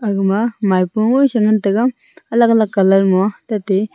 agama maipo ngoisae ngan taiga alag alag colour ma tate--